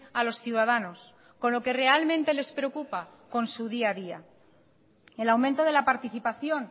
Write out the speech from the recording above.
a los ciudadanos con lo que realmente les preocupa con su día a día el aumento de la participación